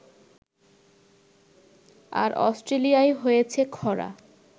আর অস্ট্রেলিয়ায় হয়েছে খরা